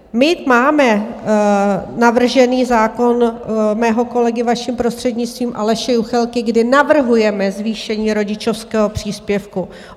My máme navržen zákon mého kolegy, vaším prostřednictvím, Aleše Juchelky, kdy navrhujeme zvýšení rodičovského příspěvku.